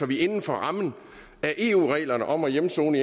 vi inden for rammerne af eu reglerne om at afsone